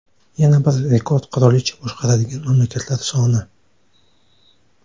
Yana bir rekord qirolicha boshqaradigan mamlakatlar soni.